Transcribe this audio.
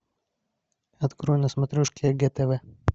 открой на смотрешке егэ тв